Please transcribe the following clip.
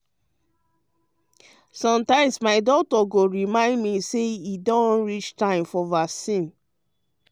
sometimes my my doctor go remind me say e don reach time for vaccine.